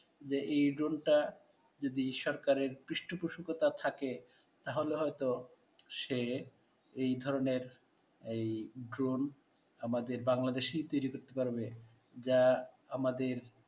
যে এই ড্রনটা যদি সরকারের পৃষ্ঠপোষকতা থাকে, তাহলে হয়ত সে এই ধরনের এই ড্রোন আমাদের বাংলাদেশে তৈরি করতে পারবে. যা আমাদের